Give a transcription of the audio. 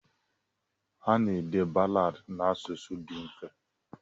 Ana-ede balaadị n'asụsụ dị mfe.